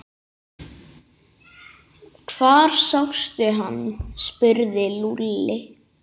Hvar sástu hann? spurði Lúlli.